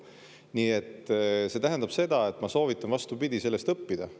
Nii et see tähendab, et ma soovitan, vastupidi, sellest õppida.